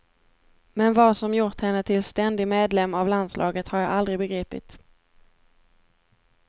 Men vad som gjort henne till ständig medlem av landslaget har jag aldrig begripit.